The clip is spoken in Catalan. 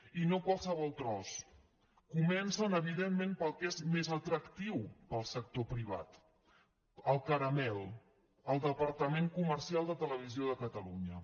i no qualsevol tros comencen evidentment pel que és més atractiu per al sector privat el caramel el departament comercial de televisió de catalunya